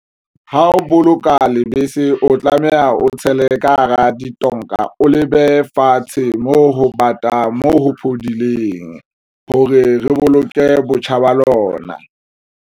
Ha o boloka lebese, o tlameha o tshele ka hara ditonka, o lebehe fatshe mo ho pata moo ho phodileng hore re boloke botjha ba lona.